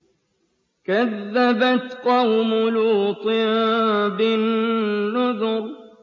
كَذَّبَتْ قَوْمُ لُوطٍ بِالنُّذُرِ